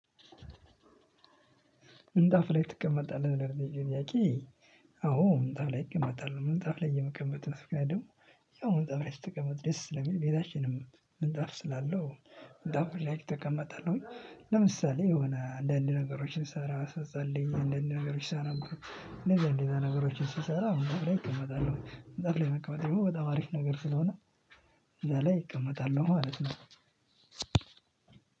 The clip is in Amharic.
ምንጣፍ ላይ ትቀመጣለህ፤ ለጠየከኝ ጥያቄ፤ አዎ፣ ምንጣፍ ላይ እቀመጣለው፤ ምንጣፍ ላይ የምቀመጥበት ምክንያትም፣ ያው ምንጣፍ ላይ ስትቀመጥ ደስ ስለሚል፤ ቤታችንም ምንጣፍ ስላለው ምንጣፍ ላይ እቀመጣለሁኝ፤ ለምሳሌ የሆነ አንዳንድ ነገሮችን ስሰራ፣ ስጸልይ፣ አንዳንድ ነገሮች ሳነብ፤ ሌላ ሌላ ነገሮችን ስሰራ፤ ምንጣፍ ላይ እቀመጣለሁ፤ ምንጣፍ ላይ መቀመጤ ደግሞ በጣም አሪፍ ነገር ስለሆነ፣ እዚያ ላይ እቀመጣለሁ ማለት ነው፤